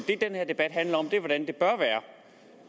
det den her debat handler om er hvordan det bør være